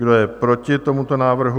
Kdo je proti tomuto návrhu?